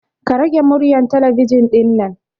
Ka rage muryar talabijin ɗinnan